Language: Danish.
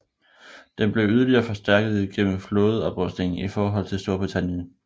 Den blev yderligere forstærket gennem flådeoprustningen i forhold til Storbritannien